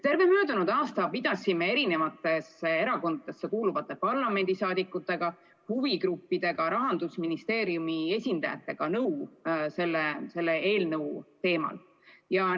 Terve möödunud aasta pidasime eri erakondadesse kuuluvate parlamendiliikmetega, huvigruppide ja Rahandusministeeriumi esindajatega selle eelnõu teemal nõu.